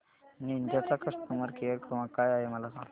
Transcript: Ninja चा customer care क्रमांक काय आहे मला सांगा